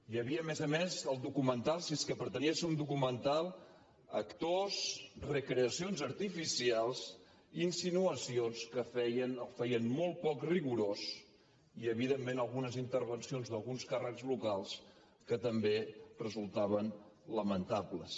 hi havia a més a més al documental si és que pretenia ser un documental actors recreacions artificials insinuacions que el feien molt poc rigorós i evidentment algunes intervencions d’alguns càrrecs locals que també resultaven lamentables